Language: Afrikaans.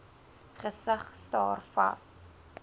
gesig staar vas